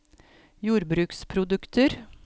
jordbruksprodukter